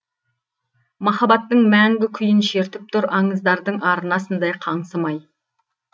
махаббаттың мәңгі күйін шертіп тұр аңыздардың арнасындай қаңсымай